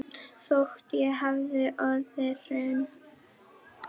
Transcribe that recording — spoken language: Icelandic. Þótt hér hafi orðið hrun.